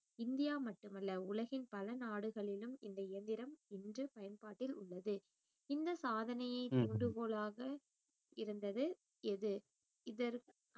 India மட்டுமல்ல உலகின் பல நாடுகளிலும் இந்த இயந்திரம் இன்று பயன்பாட்டில் உள்ளது இந்த சாதனையை தூண்டுகோலாக இருந்தது எது இதற்~